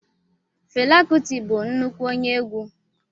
Fela kuti bụ nnukwu onye egwu.